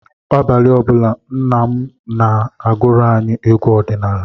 Abalị ọ bụla, nna m na-agụrụ anyị egwu ọdịnala.